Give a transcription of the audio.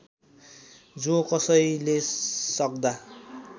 जोकसैले सक्दा